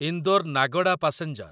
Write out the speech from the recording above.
Indore Nagda passenger